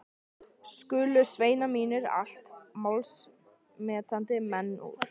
Skulu sveinar mínir, allt málsmetandi menn úr